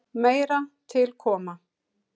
Meira til koma.